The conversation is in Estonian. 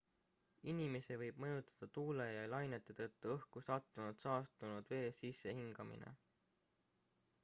inimesi võib mõjutada tuule ja lainete tõttu õhku sattunud saastunud vee sissehingamine